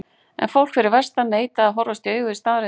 En fólk fyrir vestan neitaði að horfast í augu við staðreyndir.